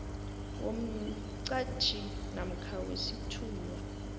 womqhatjhi namkha wesithunywa